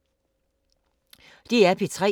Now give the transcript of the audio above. DR P3